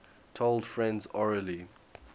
told friends orally